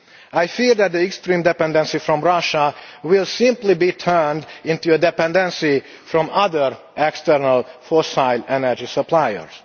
I fear that the extreme dependency on Russia will simply be turned into a dependency on other external fossil energy suppliers.